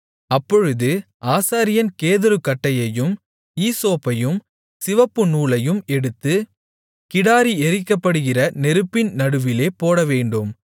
அப்பொழுது ஆசாரியன் கேதுருக்கட்டையையும் ஈசோப்பையும் சிவப்பு நூலையும் எடுத்து கிடாரி எரிக்கப்படுகிற நெருப்பின் நடுவிலே போடவேண்டும்